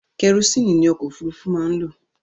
Kẹrosíìnì ni ọkọ̀ òfurufú máa ń lò.